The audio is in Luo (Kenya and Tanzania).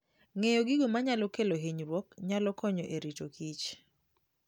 Ng'eyo gigo manyalo kelo hinyruok nyalo konyo e rito kich